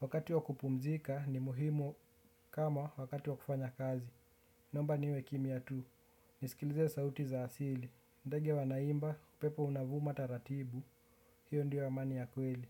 Wakati wa kupumzika ni muhimu kama wakati wa kufanya kazi. Naomba niwe kimya tu, nisikilize sauti za asili. Ndege wanaimba, upepo unavuma taratibu, hiyo ndio amani ya kweli.